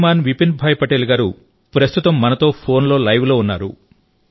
శ్రీమాన్ విపిన్భాయ్ పటేల్ గారు ప్రస్తుతం మనతో ఫోన్ లైన్లో ఉన్నారు